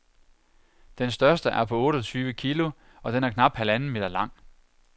Den største er på otteogtyve kilo, og den er knap halvanden meter lang.